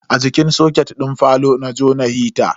A jikin soket din falo na jona hita.